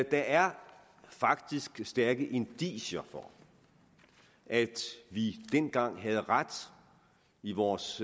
er faktisk stærke indicier på at vi dengang havde ret i vores